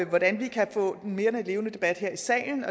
hvordan vi kan få en mere levende debat her i salen